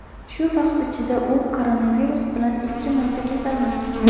Shu vaqt ichida u koronavirus bilan ikki marta kasallangan.